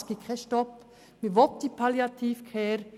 Es gibt keinen Stopp, man will diese Palliative Care.